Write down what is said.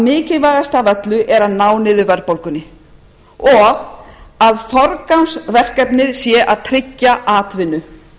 mikilvægast af öllu er að ná niður verðbólgunni og að forgangsverkefnið hvað tryggja atvinnu